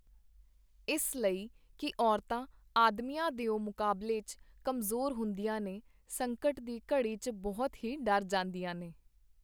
ਇਸ ਲਈ ਕੀ ਔਰਤਾਂ ਆਦਮੀਆਂ ਦਿਓ ਮੁਕਾਬਲੇ ਚ ਕਮਜ਼ੋਰ ਹੁੰਦੀਆਂ ਨੇ, ਸੰਕਟ ਦੀ ਘੜੀ ਚ ਬਹੁਤ ਹੀ ਡਰ ਜਾਂਦੀਆਂ ਨੇ.